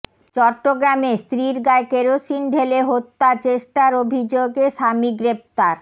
চট্টগ্রামে স্ত্রীর গায়ে কেরোসিন ঢেলে হত্যা চেষ্টার অভিযোগে স্বামী গ্রেপ্তার